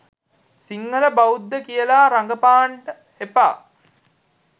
සිංහල බෞද්ධ කියලා රඟපාන්ඩ එපා.